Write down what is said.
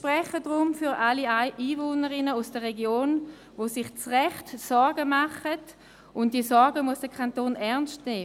Ich spreche deshalb für alle Einwohnerinnen und Einwohner aus der Region, die sich zu Recht Sorgen machen – und diese Sorgen muss der Kanton ernst nehmen.